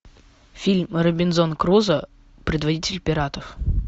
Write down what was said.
фильм робинзон крузо предводитель пиратов